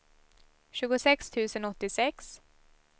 tjugosex tusen åttiosex